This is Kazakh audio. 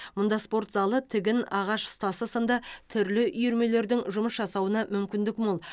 мұнда спорт залы тігін ағаш ұстасы сынды түрлі үйірмелердің жұмыс жасауына мүмкіндік мол